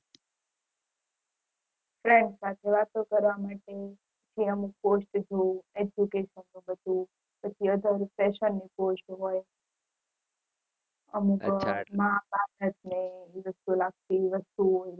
friend સાથે વાતો કરવા માટે જેમ post જોવું eduction ને બઘુ અમુક માં બાપ જ હે એ અલગ થી વસ્તુ ઓ